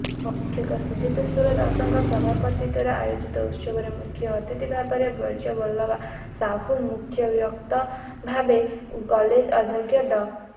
ଶିକ୍ଷକ ସିଦେ୍ଧଶ୍ୱର ଦାସଙ୍କ ସଭାପତିତ୍ୱରେ ଆୟୋଜିତ ଉତ୍ସବରେ ମୁଖ୍ୟ ଅତିଥିଭାବେ ବ୍ରଜବଲ୍ଲଭା ସାହୁ ଓ ମୁଖ୍ୟବକ୍ତାଭାବେ କଲେଜ ଅଧ୍ୟକ୍ଷ ଡ